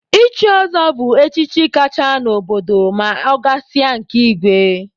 Ichi ọzọ bụ echichi kacha n'obodo ma ọ gasịa nke igwe.